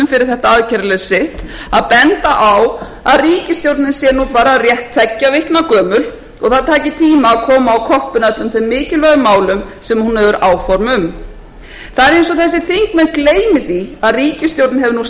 fyrir þetta aðgerðarleysi að benda á að ríkisstjórnin sé nú bara rétt tveggja vikna gömul og það taki tíma að koma á koppinn öllum þeim mikilvægu málum sem hún hefur áform um það er eins og þessir þingmenn gleymi því að ríkisstjórnin hefur nú nærri